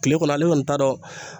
Kile kɔnɔ ale kɔni t'a dɔn